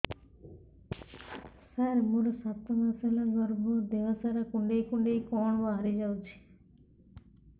ସାର ମୋର ସାତ ମାସ ହେଲା ଗର୍ଭ ଦେହ ସାରା କୁଂଡେଇ କୁଂଡେଇ କଣ ବାହାରି ଯାଉଛି